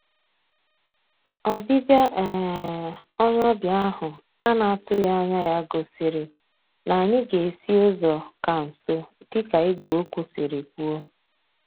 Ọbịbịa um onye ọbịa ahụ ana-atụghị anya ya gosiri na anyị ga-esi ụzọ ka nso dịka ìgwè okwu siri kwuo